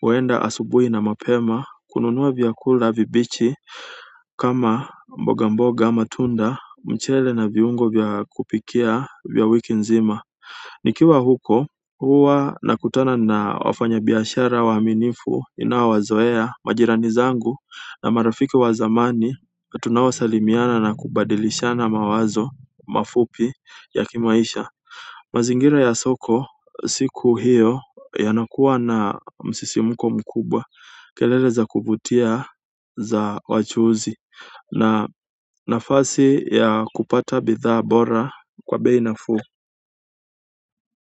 huenda asubuhi na mapema kununua vyakula vibichi kama mboga mboga matunda mchele na viungo vya kupikia vya wiki nzima nikiwa huko huwa nakutana na wafanyabiashara waaminifu ninao wazoea majirani zangu na marafiki wa zamani na tunao salimiana na kubadilishana mawazo mafupi ya kimaisha mazingira ya soko siku hiyo yanakuwa na msisimuko mkubwa kelele za kuvutia za wachuuzi na nafasi ya kupata bidhaa bora kwa bei nafuu.